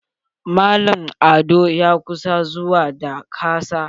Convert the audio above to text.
Mallam ado ya ƙusa zuwa da kasa.